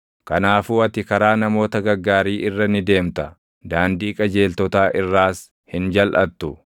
Kanaafuu ati karaa namoota gaggaarii irra ni deemta; daandii qajeeltotaa irraas hin jalʼattu.